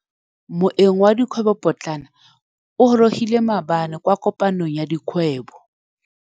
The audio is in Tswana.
Moêng wa dikgwêbô pôtlana o gorogile maabane kwa kopanong ya dikgwêbô.